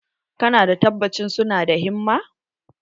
Ka na da tabacci su na da himma?